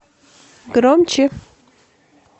громче